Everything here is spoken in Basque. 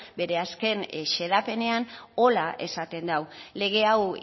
bere azken xedapenean horrela esan dau lege hau